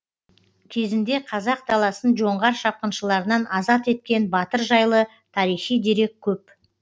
кезінде қазақ даласын жоңғар шапқыншыларынан азат еткен батыр жайлы тарихи дерек көп